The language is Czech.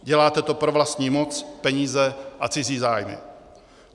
Děláte to pro vlastní moc, peníze a cizí zájmy.